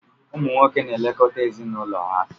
Ụmụ nwoke na-elekọta ezinụlọ ha.